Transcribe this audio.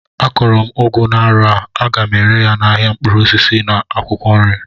Akọrọ m ugu n'arọ a, aga ere ya n'ahịa mkpụrụ osisi na akwụkwọ nri